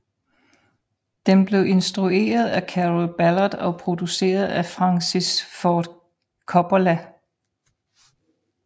Den blev instrueret af Carroll Ballard og produceret af Francis Ford Coppola